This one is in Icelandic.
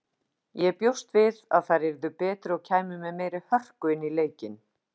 Ég bjóst við að þær yrðu betri og kæmu með meiri hörku inn í leikinn.